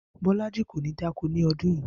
Bó̩lájí kò ní dáko ni o̩dún yìí